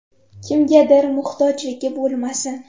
Kimgadir muhtojligi bo‘lmasin.